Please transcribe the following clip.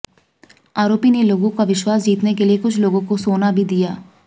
आरोपी ने लोगों का विश्वास जीतने के लिए कुछ लोगों को सोना भी दिया